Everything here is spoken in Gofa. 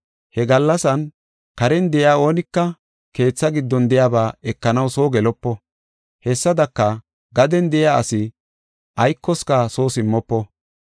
“He gallasan karen de7iya oonika keetha giddon de7iyaba ekanaw soo gelopo. Hessadaka, gaden de7iya asi aykoska soo simmofo.